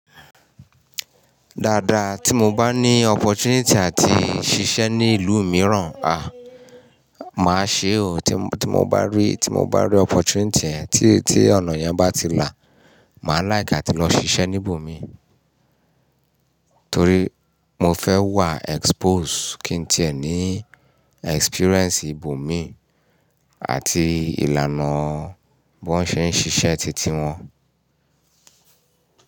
Dáadáa tí mo bá ní opportunity àti ṣiṣẹ́ ní ìlú mìíràn, a! Máa ṣe o, tí mo bá rí, tí mo bá rí opportunity ẹ, tí ọ̀nà yẹn bá ti là, mà like àti lọ ṣiṣẹ́ níbòmí. Torí mo fẹ́ wà expose, kí n tìẹ ní experience ibòmí àti ìlànà bọ́ n ṣe ń ṣiṣẹ́ titi wọn.